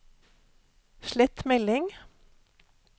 slett melding